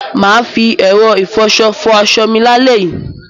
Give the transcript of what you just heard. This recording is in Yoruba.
Mà á fi ẹ̀rọ ìfọṣọ fọ aṣọ mi lálẹ́ yìí.